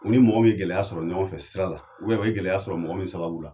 U ni mɔgɔ min ye gɛlɛya sɔrɔ ɲɔgɔn fɛ sira la ubɛ u ye gɛlɛya sɔrɔ mɔgɔ min sababu la